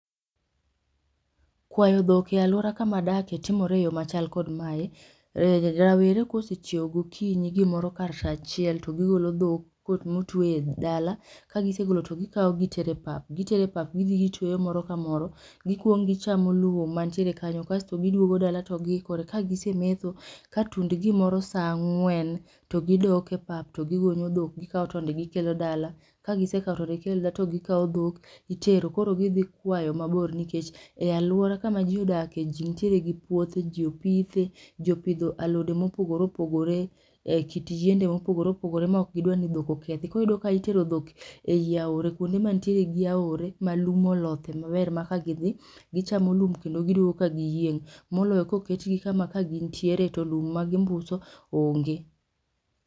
Kwayo dhok e alwora kama adakie timore eyo machal kod mae. Rawere kosechiew gokinyi gimoro kar saa achiel to gigolo dhok kuonde motweye e dala, ka gisegolo to gikawo gitero e pap, gitero e pap gidhi gitweyo moro ka moro. Gikuongo gichamo lum mantiere kanyo kasto giduogo dala to giikore. Kagise metho, katund gimoro saa ang'wen to gidok e pap, to gigonyo dhok gikawo tonde gikelo dala, ka gisekawo tonde gitero dala to gikawo dhok gitero. Koro gidhi kwayo mabor nikech e aluora kama ji odakie ji nitiere gi puothe ji opithee. Ji opidho alode, mopogore opogore, ekit yiende mopogore opogore ma ok gidwa ni dhok okethi. Koro iyudo ka itero dhok e aora kuonde mantie gi aore malum olothie maber ma kidhi gichamo lum kendo giduogo ka giyieng' moloyo koketgi kama kagin tiere to lum ma gimbuso onge.